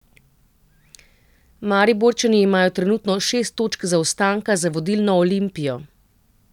Mariborčani imajo trenutno šest točk zaostanka za vodilno Olimpijo.